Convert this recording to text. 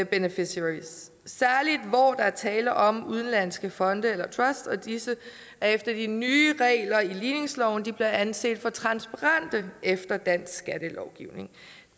beneficiaries særlig hvor der er tale om udenlandske fonde eller trusts og disse efter de nye regler i ligningsloven bliver anset for transparente efter dansk skattelovgivning